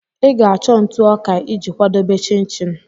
Ị ga-achọ ntụ ọka iji kwadebe chin-chin